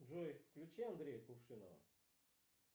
джой включи андрея кувшинова